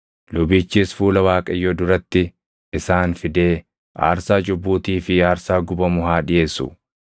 “ ‘Lubichis fuula Waaqayyoo duratti isaan fidee aarsaa cubbuutii fi aarsaa gubamu haa dhiʼeessu.